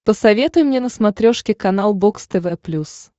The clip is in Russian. посоветуй мне на смотрешке канал бокс тв плюс